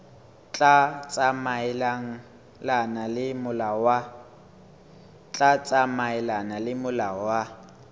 tla tsamaelana le molao wa